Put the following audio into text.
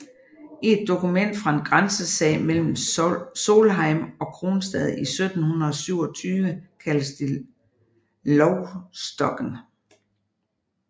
I et dokument fra en grænsesag mellem Solheim og Kronstad i 1727 kaldes det Loustokken